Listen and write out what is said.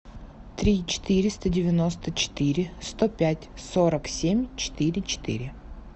три четыреста девяносто четыре сто пять сорок семь четыре четыре